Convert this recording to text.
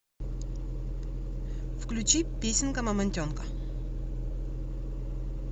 включи песенка мамонтенка